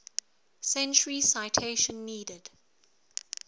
century citation needed